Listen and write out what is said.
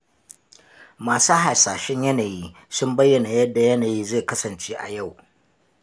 Masu hasashen yanayi sun bayyana yadda yanayin zai kasance a yau.